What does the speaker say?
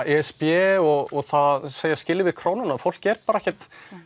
e s b og það að segja skilið við krónuna fólk er bara ekkert